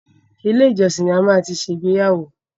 Ilé ìjọsìn ni a máa ti ṣe ìgbéyàwó.